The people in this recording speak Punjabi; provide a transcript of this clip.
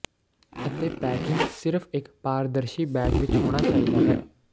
ਅਤੇ ਪੈਕਿੰਗ ਸਿਰਫ਼ ਇੱਕ ਪਾਰਦਰਸ਼ੀ ਬੈਗ ਵਿੱਚ ਹੋਣਾ ਚਾਹੀਦਾ ਹੈ